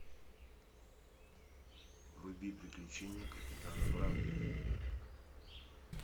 вруби приключения капитана врангеля